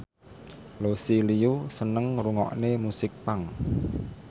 Lucy Liu seneng ngrungokne musik punk